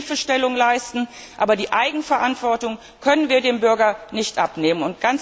Er muss ihm Hilfestellung leisten, aber die Eigenverantwortung können wir dem Bürger nicht abnehmen.